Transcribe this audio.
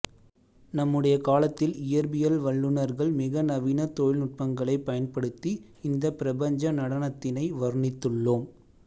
நம்முடைய காலத்தில் இயற்பியல் வல்லுனர்கள் மிக நவீன தொழில்நுட்பங்களை பயன்படுத்தி இந்த பிரபஞ்ச நடனத்தினை வருணித்துள்ளோம்